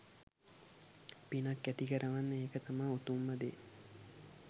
පිනක් ඇතිකරවන්න ඒක තමා උතුම්ම දේ.